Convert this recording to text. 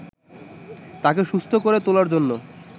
তাকে সুস্থ করে তোলার জন্য